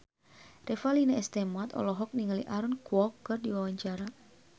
Revalina S. Temat olohok ningali Aaron Kwok keur diwawancara